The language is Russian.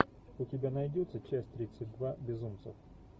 у тебя найдется часть тридцать два безумцев